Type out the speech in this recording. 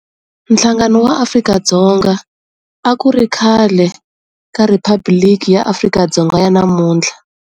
Nhlangano wa Afrika-Dzonga a ku ri khale ka Riphabliki ya Afrika-Dzonga ya namuntlha.